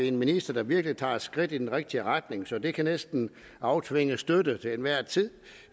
en minister der virkelig tager et skridt i den rigtige retning så det kan næsten aftvinge støtte til enhver tid